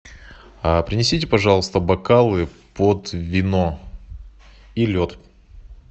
принесите пожалуйста бокалы под вино и лед